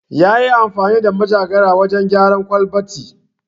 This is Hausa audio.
Ya yi amfani da manjagara wajen gyara kwalabati